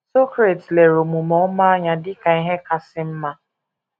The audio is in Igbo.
Socrates lere omume ọma anya dị ka ihe kasị mma.